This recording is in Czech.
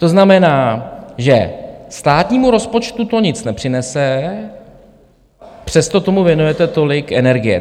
To znamená, že státnímu rozpočtu to nic nepřinese, přesto tomu věnujete tolik energie.